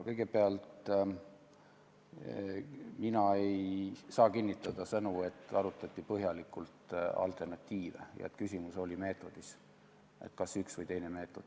Kõigepealt, mina ei saa kinnitada, et arutati põhjalikult alternatiive ja et küsimus oli meetodis, et kas üks või teine meetod.